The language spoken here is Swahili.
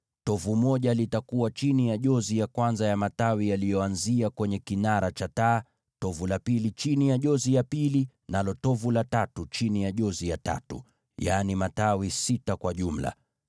Tovu moja litakuwa chini ya jozi ya kwanza ya matawi yaliyotokeza kwenye kinara cha taa, tovu la pili chini ya jozi ya pili, nalo tovu la tatu chini ya jozi ya tatu, yaani matawi sita kwa jumla.